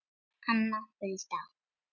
Anna Hulda.